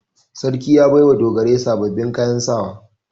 Sarki ya bai wa dogarai sababbin kayan sawa.